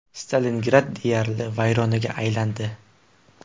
Stalingrad deyarli vayronaga aylandi.